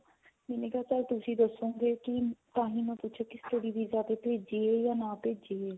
ਮੈਨੂੰ ਤਾਂ ਤੁਸੀਂ ਦੱਸੋਗੇ ਤਾਹੀਂ ਮੈਂ ਪੁੱਛੀਆ study visa ਤੇ ਭੇਜੀਏ ਜਾ ਨਾ ਭੇਜਿਏ